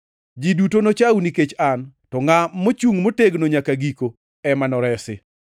Ji duto nochau nikech an, to ngʼat ma ochungʼ motegno nyaka giko ema noresi.